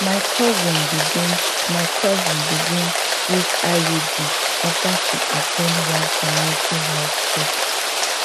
my cousin begin my cousin begin use iud after she at ten d one community health talk